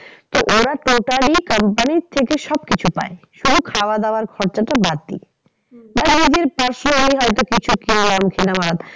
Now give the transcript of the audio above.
তো ওরা totally ই company র থেকে সব কিছু পায় শুধু খাওয়া দাওয়ার খরচটা বাদ দিয়ে। নিজের personally কিছু কিনলাম